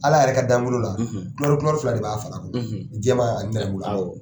Ala yɛrɛ ka damuru la kurɛru kurɛru fila de b'a fara la jɛman ani nɛrɛmugulaman awɔ